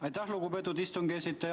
Aitäh, lugupeetud aseesimees!